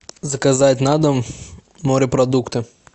заказать на дом морепродукты